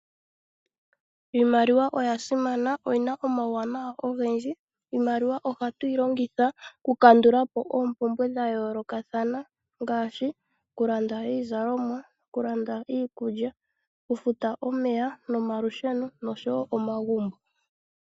Iimaliwa oya simana noyina omauwanawa ogendji, iimaliwa ohatu yilongitha oku kandulapo opumbwe dha yolokathana ngashi oku landa iizalomwa, oku landa iikulya, oku futa omeya nomalusheno oshowo omagumbo.